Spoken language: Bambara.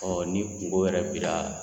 ni kungo yɛrɛ b'i